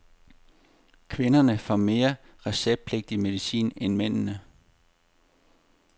Kvinderne får mere receptpligtig medicin end mændene.